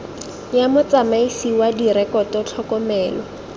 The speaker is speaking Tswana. ya motsamaisi wa direkoto tlhokomelo